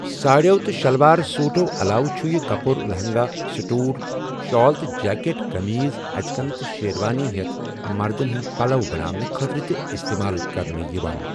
ساڑٮ۪و تہٕ شِلوار سوٗٹو عللاوٕ چھُ یہِ کپُر لہنٛگا، سٹول، شال تہٕ جیکٹ، کمیٖز، اچکن تہٕ شیروانی ہٮ۪تھ مردن ہٕنٛدۍ پلو بناونہٕ خٲطرٕ تہِ استعمال کرنہٕ یوان۔